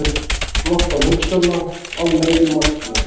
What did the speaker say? Flokk án hugsjóna, án meginmarkmiða.